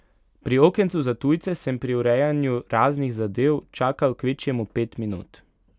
Pri okencu za tujce sem pri urejanju raznih zadev čakal kvečjemu pet minut.